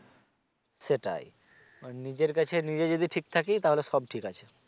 সেটাই মানে নিজের কাছে নিজে যদি ঠিক থাকি তাহলে সব ঠিক আছে।